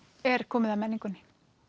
er komið að menningunni